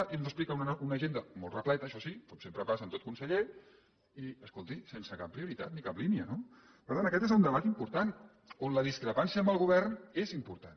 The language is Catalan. i ens explica una agenda molt repleta això sí com sempre passa amb tot conseller i escolti sense cap prioritat ni cap línia no per tant aquest és un debat important on la discrepància amb el govern és important